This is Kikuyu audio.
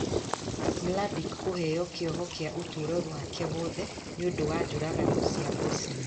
Mladic kũheo kĩoho kĩa ũtũũrũ wake wothe nĩ ũndũ wa njũragano cia Bosnia.